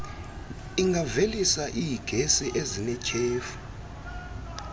ingavelisa iigesi ezinetyhefu